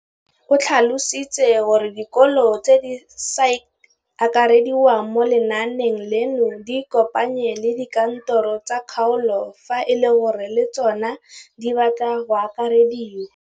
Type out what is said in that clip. O tlhalositse gore dikolo tse di sa akarediwang mo lenaaneng leno di ikopanye le dikantoro tsa kgaolo fa e le gore le tsona di batla go akarediwa.